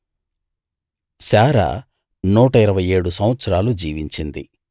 శారా నూట ఇరవై ఏడు సంవత్సరాలు జీవించింది